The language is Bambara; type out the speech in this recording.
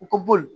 U ka bo yen